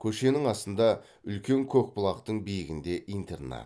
көшенің астында үлкен көкбұлақтың биігінде интернат